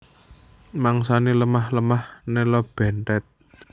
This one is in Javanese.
Mangsané lemah lemah nela benthèt